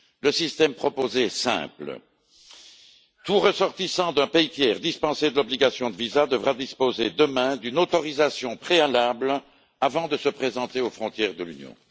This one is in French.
Le système proposé est simple tout ressortissant d'un pays tiers, dispensé de l'obligation de visa, devra disposer demain d'une autorisation préalable avant de se présenter aux frontières de l'Union.